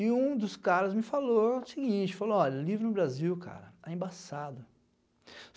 E um dos caras me falou o seguinte, falou, olha, livro no Brasil, cara, é embaçado.